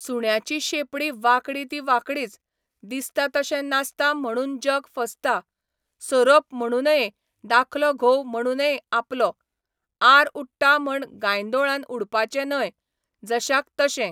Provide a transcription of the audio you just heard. सुण्याची शेंपडी वांकडी ती वांकडीच, दिसता तशें नासता म्हणून जग फसता, सोरोप म्हणूनये दाखलो घोव म्हणूनये आपलो, आर उडटा म्हण गांयदोळान उडपाचो न्हय, जशाक तशें